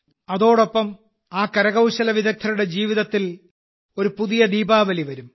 അതോടൊപ്പം ആ കരകൌശല വിദഗ്ധരുടെ ജീവിതത്തിൽ ഒരു പുതിയ ദീപാവലി വരും